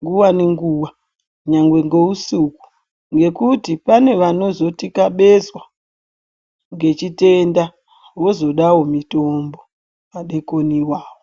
nguwa nenguwa nyagwe ngeusiku ngekuti pane vanozotikabezwa ngechitenda vozodawo mutombo madekoni iwawo.